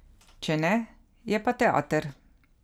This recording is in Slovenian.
Če ne, je pa teater.